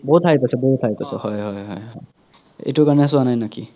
বহুত hype আছে বহুত hype আছে হয় হয় হয় হয় এইতোৰ কাৰনে চোৱ নাই নেকি